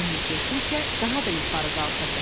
Emil getdikcə daha da yuxarı qalxırdı.